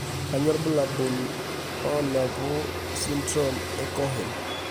Kainyio irbulabul onaapuku esindirom eCohen?